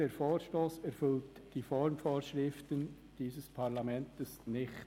Der Vorstoss erfüllt die Formvorschriften dieses Parlaments nicht.